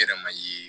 I yɛrɛ ma ye